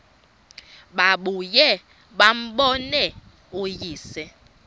babuye bambone uyise